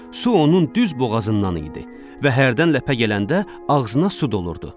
Su onun düz boğazından idi və hərdən ləpə gələndə ağzına su dolurdu.